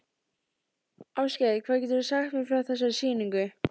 Ásgeir: Hvað geturðu sagt mér frá þessari sýningu?